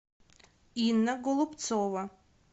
инна голубцова